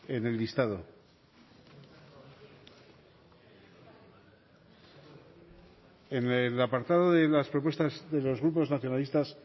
en el listado en el apartado de las propuestas de los grupos nacionalistas